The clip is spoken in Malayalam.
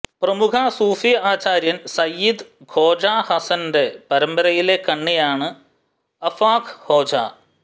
പ്രമുഖ സൂഫി ആചാര്യൻ സയ്യിദ് ഖോജ ഹസ്സൻറെ പരമ്പരയിലെ കണ്ണിയാണ് അഫാഖ് ഹോജ